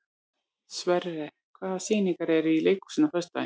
Sverre, hvaða sýningar eru í leikhúsinu á föstudaginn?